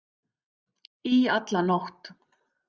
Í alla nótt.